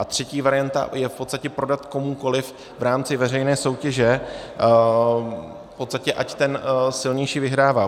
A třetí varianta je v podstatě prodat komukoliv v rámci veřejné soutěže, v podstatě ať ten silnější vyhrává.